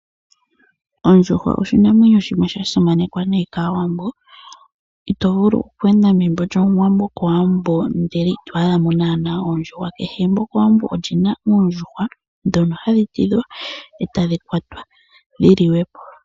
Ondjuhwa oshinamwenyo shimwe shasimanekwa nayi kaawambo . Ito vulu okweenda megumbo lyomuwambo kowambo ndele ito adhamo naana ondjuhwa. Kehe egumbo kowambo olyina oondjuhwa ndhono hadhi tidhwa etadhi kwatwa dhili wepo .